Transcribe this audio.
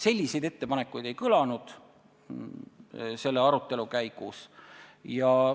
Selliseid ettepanekuid selle arutelu käigus ei kõlanud.